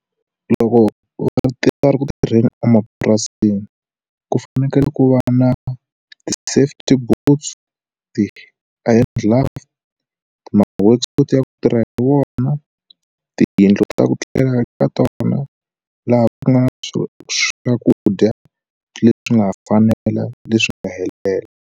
Loko va ri ti nga ri ku tirheni emapurasini ku fanekele ku va na ti safety boots ti hand gloves ma hotspot ya ku tirha hi wona tiyindlu ta ku etlela ka tona laha ku nga na swo swakudya leswi nga fanela leswi nga helela.